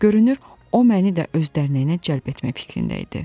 Görünür, o məni də öz dərnəyinə cəlb etmək fikrində idi.